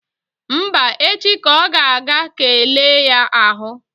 Mba, echi ka ọ ga-aga ka e lee ya ahụ.